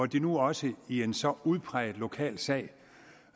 de nu også i en så udpræget lokal sag